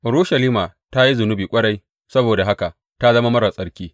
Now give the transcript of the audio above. Urushalima ta yi zunubi ƙwarai saboda haka ta zama marar tsarki.